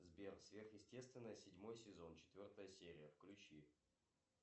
сбер сверхъестественное седьмой сезон четвертая серия включи